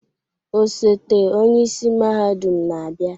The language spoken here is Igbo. Osote-onye isi mahadum na-abịa.